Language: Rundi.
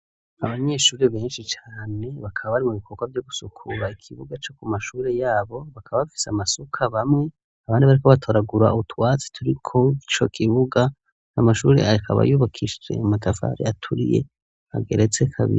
Abanyeshuri benshi cane bakaba bari mu bikorwa byo gusukura ikibuga co ku mashuri yabo bakaba bafise amasuka bamwe abandi bari ko batoragura ubutwatsi turiko ico kibuga n amashuri akaba yubakishie matafari aturiye ageretse kabiri.